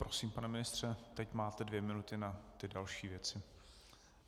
Prosím, pane ministře, teď máte dvě minuty na ty další věci.